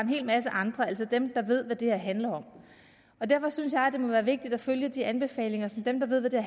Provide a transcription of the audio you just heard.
hel masse andre altså dem der ved hvad det her handler om derfor synes jeg at det må være vigtigt at følge de anbefalinger som dem der ved hvad det